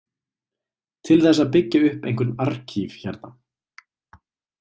Til þess að byggja upp einhvern arkíf hérna.